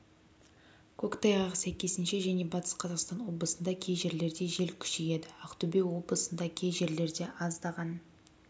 көктайғақ сәйкесінше және батыс қазақстан облысында кей жерлерде жел күшейеді ақтөбе облысында кей жерлерде аздаған